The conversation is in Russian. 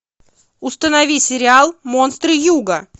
установи сериал монстры юга